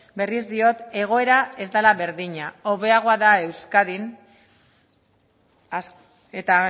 berriz diot egoera ez dela berdina hobeagoa da euskadin eta